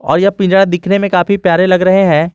और यह पिंजरा दिखने में काफी प्यारे लग रहे हैं।